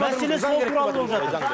мәселе сол туралы болып жатыр